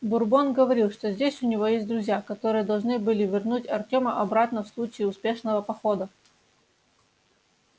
бурбон говорил что здесь у него есть друзья которые должны были вернуть артёма обратно в случае успешного похода